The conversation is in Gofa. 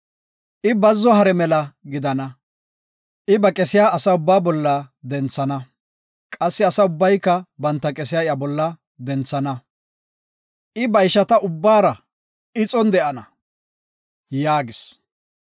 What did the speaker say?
I bazzo hare mela gidana, I ba qesiya asa ubba bolla denthana, Qassi asa ubbayka banta qesiya iya bolla denthana. I ba ishata ubbara ixon de7ana” yaagis.